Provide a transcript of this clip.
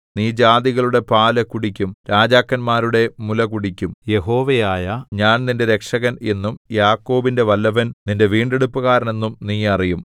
നീ ജാതികളുടെ പാല് കുടിക്കും രാജാക്കന്മാരുടെ മുല കുടിക്കും യഹോവയായ ഞാൻ നിന്റെ രക്ഷകൻ എന്നും യാക്കോബിന്റെ വല്ലഭൻ നിന്റെ വീണ്ടെടുപ്പുകാരൻ എന്നും നീ അറിയും